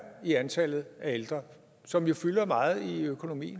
i antallet af ældre og som jo fylder meget i økonomien